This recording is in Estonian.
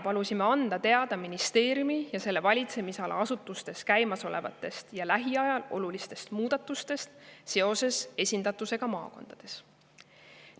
Palusin meile teada anda ministeeriumi ja selle valitsemisala asutustes käimasolevatest ja lähiajal olulistest muudatustest seoses esindatusega maakondades.